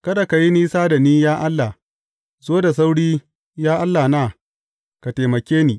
Kada ka yi nisa da ni, ya Allah; zo da sauri, ya Allahna, ka taimake ni.